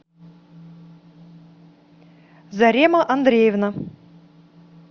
зарема андреевна